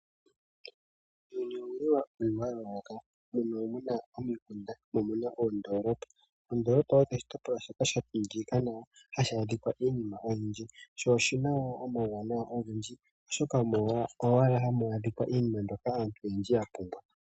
Uuyuni owuli watungwa wa yooloka, muuyuni muna oondolopa nomikunda. Oondolopa osho oshitopolwa shoka shatungika nawa hashaadhika iinima oyindji, sho oshina woo omauwanawa ogendji, oshoka omo owala hamwaadhika iinima ndjoka aantu yapumbwa.